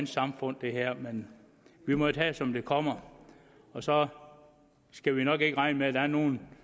samfund men vi må tage det som det kommer og så skal vi nok ikke regne med at der er nogen